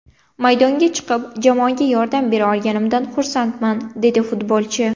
Maydonga chiqib, jamoaga yordam bera olganimdan xursandman”, dedi futbolchi.